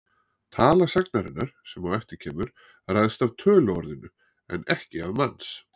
Tala sagnarinnar, sem á eftir kemur, ræðst af töluorðinu en ekki af manns.